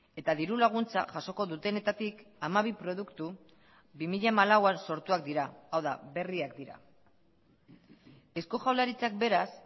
eta diru laguntza jasoko dutenetatik hamabi produktu bi mila hamalauan sortuak dira hau da berriak dira eusko jaurlaritzak beraz